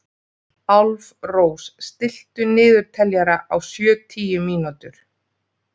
Álfrós, stilltu niðurteljara á sjötíu mínútur.